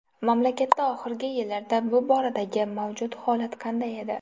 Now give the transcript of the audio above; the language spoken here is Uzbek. Mamlakatda oxirgi yillarda bu boradagi mavjud holat qanday edi?